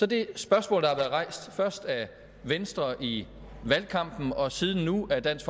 det spørgsmål der har været rejst først af venstre i valgkampen og nu af dansk